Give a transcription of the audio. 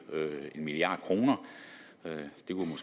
en milliard kroner